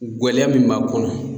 Gwɛlɛya min b'a kɔnɔ